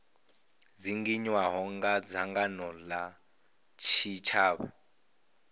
dzinginywaho nga dzangano la tshitshavha